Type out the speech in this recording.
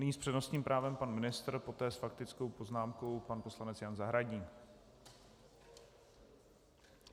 Nyní s přednostním právem pan ministr, poté s faktickou poznámkou pan poslanec Jan Zahradník.